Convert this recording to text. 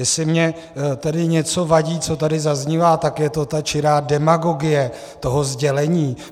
Jestli mi tedy něco vadí, co tady zaznívá, tak je to ta čirá demagogie toho sdělení.